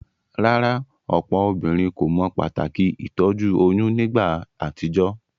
Rárá, òpò obínrin kò mo pàtàkì ìtójú oyún nígba àtijó?